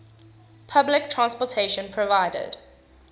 public transportation provided